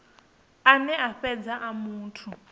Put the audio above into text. ane a fhedza a muthu